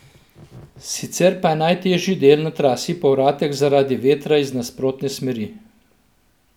Sicer pa je najtežji del na trasi povratek zaradi vetra iz nasprotne smeri.